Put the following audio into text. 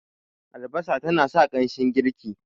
albasa tana sa ƙanshin girki